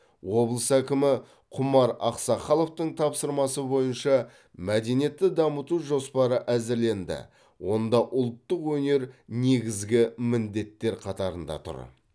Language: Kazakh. облыс әкімі құмар ақсақаловтың тапсырмасы бойынша мәдениетті дамыту жоспары әзірленді онда ұлттық өнер негізгі міндеттер қатарында тұр